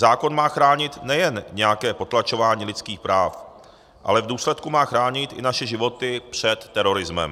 Zákon má chránit nejen nějaké potlačování lidských práv, ale v důsledku má chránit i naše životy před terorismem.